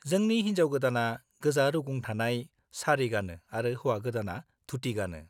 जोंनि हिनजाव-गोदाना गोजा रुगुं थानाय सारी गानो आरो हौवा-गोदाना धुति गानो।